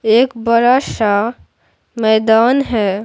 एक बरा शा मैदान है।